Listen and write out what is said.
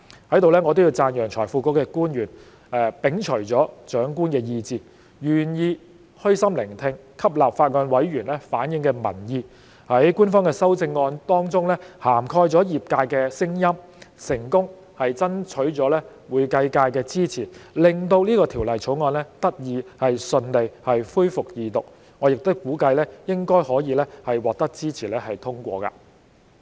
在此，我亦要讚揚財庫局的官員，他們摒除了長官意志，願意虛心聆聽，吸納法案委員會委員反映的民意，在官方的修正案當中涵蓋了業界的聲音，成功爭取會計界的支持，令這項《條例草案》得以順利恢復二讀辯論，我亦估計應該可以獲支持通過。